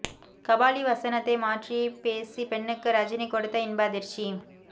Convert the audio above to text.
கபாலி வசனத்தை மாற்றிப் பேசிய பெண்ணுக்கு ரஜினி கொடுத்த இன்ப அதிர்ச்சி